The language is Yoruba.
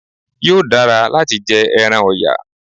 Yóò dara láti jẹ ẹran ọ̀yà